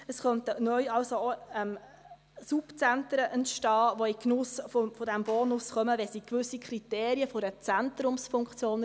Es könnten neu also auch Subzentren entstehen, die in den Genuss dieses Bonus kommen, wenn sie gewisse Kriterien einer Zentrumsfunktion erfüllen.